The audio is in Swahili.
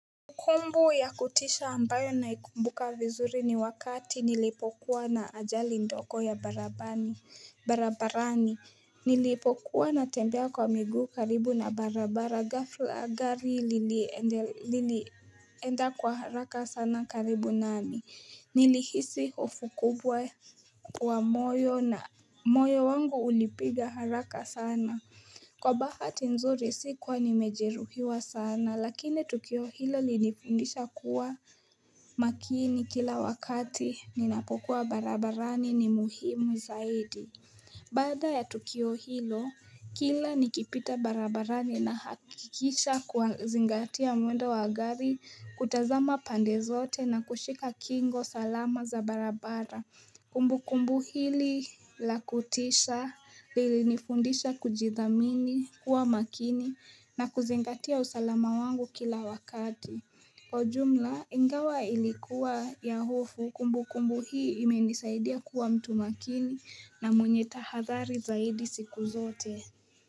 Kumbu ya kutisha ambayo naikumbuka vizuri ni wakati nilipokuwa na ajali ndogo ya barabarani Nilipokuwa natembea kwa miguu karibu na barabara gafla gari lilienda kwa haraka sana karibu nami Nilihisi hofu kubwa kwa moyo na moyo wangu ulipiga haraka sana Kwa bahati nzuri sikuwa nimejeruhiwa sana lakini Tukio hilo lilinifundisha kuwa makini kila wakati ninapokuwa barabarani ni muhimu zaidi Baada ya Tukio hilo kila nikipita barabarani nahakikisha kwa zingatia mwendo wa gari kutazama pande zote na kushika kingo salama za barabara Kumbu kumbu hili la kutisha lilinifundisha kujithamini kuwa makini na kuzingatia usalama wangu kila wakati Kwa jumla ingawa ilikuwa ya hofu kumbukumbu hii imenisaidia kuwa mtu makini na mwenye tahathari zaidi siku zote.